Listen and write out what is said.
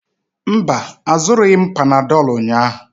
Mba, azụrụghị m panadolu ụnyahụ.